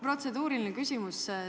Protseduuriline küsimus.